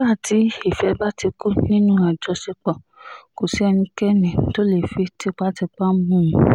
nígbà tí ìfẹ́ bá ti kú nínú àjọṣepọ̀ kò sí ẹnikẹ́ni tó lè fi tipátipá mú un